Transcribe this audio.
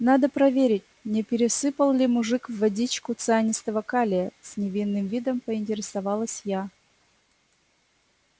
надо проверить не пересыпал ли мужик в водичку цианистого калия с невинным видом поинтересовалась я